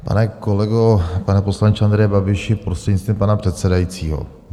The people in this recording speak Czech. Pane kolego, pane poslanče Andreji Babiši, prostřednictvím pana předsedajícího.